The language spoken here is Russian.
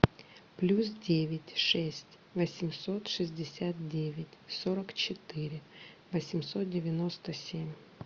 плюс девять шесть восемьсот шестьдесят девять сорок четыре восемьсот девяносто семь